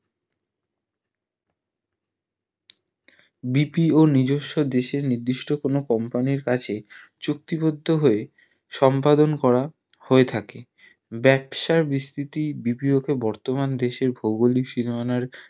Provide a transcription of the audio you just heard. BPO নিজস্সো দেশের কোনো company র কাছে চুক্তিবদ্ধ হয় সম্পাদন করা হয় তাকে ব্যাবসার বিস্তৃতি BPO কে বর্তমান দেশের ভৌগোলিক সীমানার